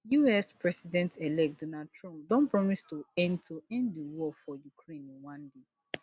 us presidentelect donald trump don promise to end to end di war for ukraine in one day